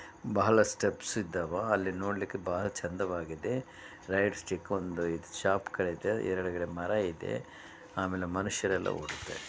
ಬಹಳ ಸ್ಟೆಪ್ಸ್ ಇದ್ದಾವ್ ಅಲ್ಲಿ ನೋಡಲಿಕ್ಕೆ ಬಹಳ ಚಂದವಾಗಿದೆ. ರೈಟ್ ಸ್ಟಿಕ್ ಒಂದು ಶಾಪ್ ಗಳು ಇದೆ ಎದುರುಗಡೆ ಮರ ಇದೆ ಆಮೇಲೆ ಮನುಷ್ಯರೆಲ್ಲ ಓಡಾಡ್ತಿದ್ದಾರೆ.